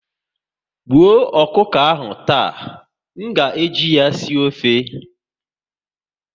Gbuo ọkụkọ ahụ taa! M ga eji ya sie ofe